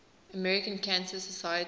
american cancer society